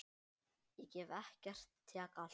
Ég gef ekkert, tek allt.